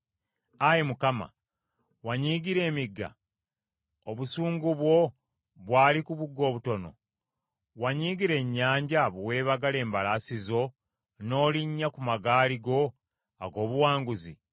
Ayi Mukama , wanyiigira emigga? Obusungu bwo bwali ku bugga obutono? Wanyiigira ennyanja bwe weebagala embalaasi zo, n’olinnya ku magaali go ag’obuwanguzi?